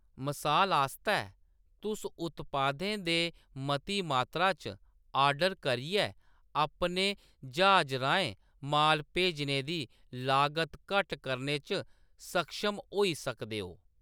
मसाल आस्तै, तुस उत्पादें दे मती मात्तरा च ऑर्डर करियै अपने ज्हाज राहें माल भेजने दी लागत घट्ट करने च सक्षम होई सकदे ओ।